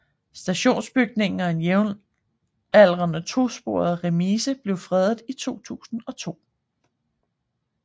Stationsbygningen og en jævnaldrende tosporet remise blev fredet i 2002